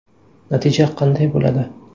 Natija qanday bo‘ladi?